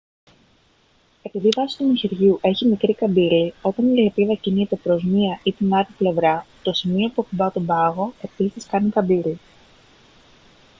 επειδή η βάση του μαχαιριού έχει μικρή καμπύλη όταν η λεπίδα κινείται προς μία ή την άλλη πλευρά το σημείο που ακουπά τον πάγο επίσης κάνει καμπύλη